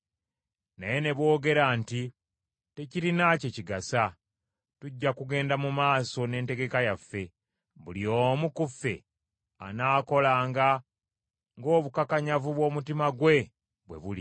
Naye ne boogera nti, ‘Tekirina kye kigasa. Tujja kugenda mu maaso n’entegeka yaffe; buli omu ku ffe anaakolanga ng’obukakanyavu bw’omutima gwe bwe buli.’ ”